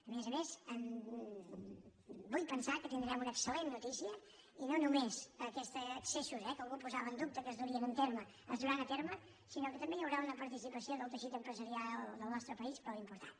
a més a més vull pensar que tindrem una excel·lent notícia i no només aquests accessos eh que algú posava en dubte que es durien a terme es duran a terme sinó que també que hi haurà una participació del teixit empresarial del nostre país prou important